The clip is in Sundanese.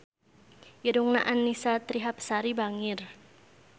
Irungna Annisa Trihapsari bangir